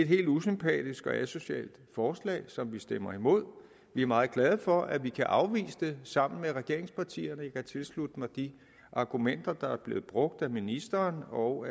helt usympatisk og asocialt forslag som enhedslisten stemmer imod vi er meget glade for at vi kan afvise det sammen med regeringspartierne og jeg kan tilslutte mig de argumenter der er blevet brugt af ministeren og